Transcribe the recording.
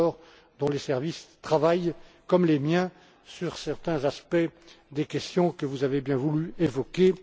M. Andor, dont les services travaillent, comme les miens, sur certains aspects des questions que vous avez bien voulu évoquer.